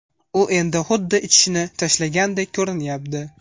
U endi xuddi ichishni tashlagandek ko‘rinyapti”.